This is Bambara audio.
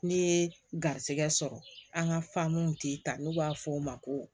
N'i ye garisigɛ sɔrɔ an ka faamun tɛ ta n'u b'a fɔ o ma ko